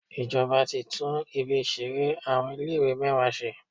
Ìjọba ti tún ibi ìṣeré àwọn ilé ìwé mẹ́wàá ṣe.